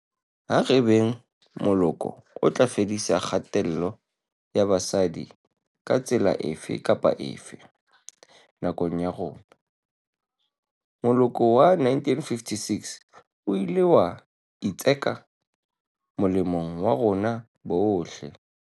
Ha re beng moloko o tla fedisang kgatello ya basadi ka tsela efe kapa efe, nakong ya rona. Moloko wa 1956 o ile wa itseka molemong wa rona bohle.